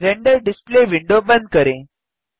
render display window बंद करें